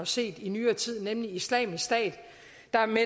set i nyere tid nemlig islamisk stat